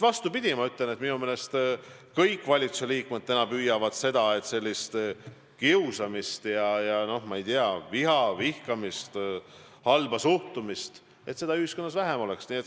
Vastupidi, ma ütlen, et minu meelest kõik valitsuse liikmed püüavad selle poole, et kiusamist ja, ma ei tea, vihkamist, halba suhtumist ühiskonnas vähem oleks.